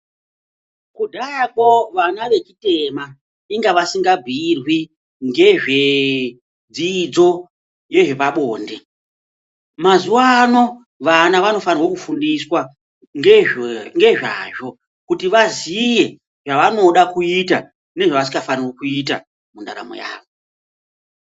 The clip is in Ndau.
Kudhayako vana vechitema inga vasingabhiyirwi ngezve dzidzo yezvepabonde. Mazuva ano vana vanofanirwe kufundiswa ngezvazvo, kuti vaziye zvavanoda kuita, nezvavasikafaniri kuita mundaramo yavo.